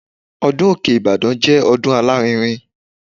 Ọdún Òkè Ìbàdàn jẹ́ ọdún alárinrin.